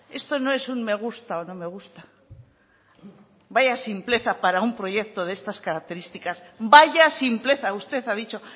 esto no es un me gusta o no me gusta vaya simpleza para un proyecto de estas características vaya simpleza usted ha dicho